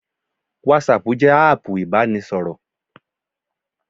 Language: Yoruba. Whatsapp jẹ́ áàpù ìbánisọ̀rọ̀